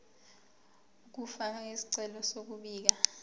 ukufaka isicelo sokubika